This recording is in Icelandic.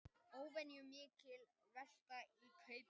Óvenjumikil velta í Kauphöll